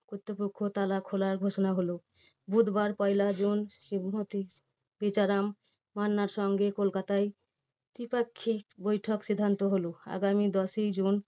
কর্তৃপক্ষ তালা খোলার ঘোষণা হলো বুধবার পয়লা জুন শিবঘটি বেচারাম মান্নার সঙ্গে কলকাতায় দ্বিপাক্ষিক বৈঠক সিদ্ধান্ত হলো আগামী দশই জুন